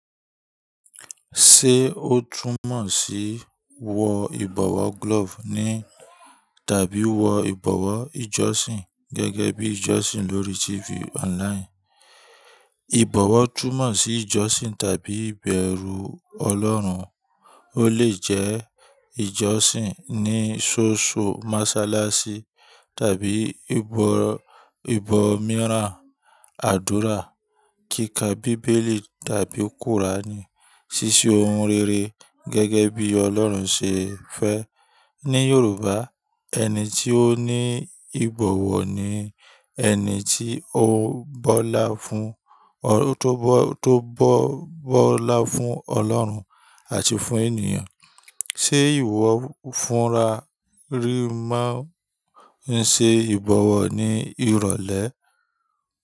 Ṣé ó túmọ̀ sí wọ ìbọ̀wọ̀ glove ni tàbí o wọ ìbọ̀wọ̀ ìjọsìn gẹ́gẹ́ bí ìjọsìn lórí TV online? Ìbọ̀wọ̀ túmọ̀ sí ìjọsìn tàbí ìbẹ̀rù Ọlọ́run. Ó lè jẹ́ ìjọsìn ní soso mọ́sálásí tàbí ìbọ̀ ibo mìíràn, àdúrà, kíkà bíbélì tàbí kùránì, ṣí ṣe ohun rere gẹ́gẹ́ bí Ọlọ́run ṣe fẹ́. Ní Yorùbá, ẹni tí ó ní ìbọ̀wọ̀ ni ẹni tó bọ́lá fún Ọlọ́run àti fún ènìyàn. Ṣé ìwọ fúnra rí máa ń ṣe ìbọ̀wọ̀ ní ìrọ̀lẹ́?